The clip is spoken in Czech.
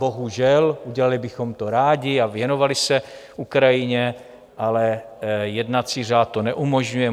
Bohužel, udělali bychom to rádi a věnovali se Ukrajině, ale jednací řád to neumožňuje.